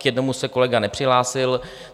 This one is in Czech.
K jednomu se kolega nepřihlásil.